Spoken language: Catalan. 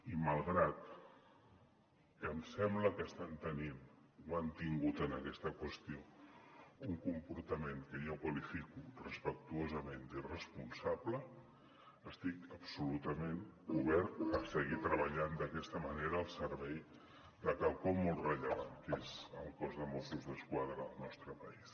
i malgrat que em sembla que estan tenint o han tingut en aquesta qüestió un comportament que jo qualifico respectuosament d’irresponsable estic absolutament obert a seguir treballant d’aquesta manera al servei de quelcom molt rellevant que és el cos de mossos d’esquadra del nostre país